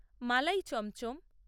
মালাই chamcham